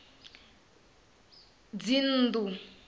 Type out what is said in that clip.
dzinnḓu